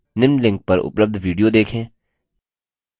निम्न link पर उपलब्ध video देखें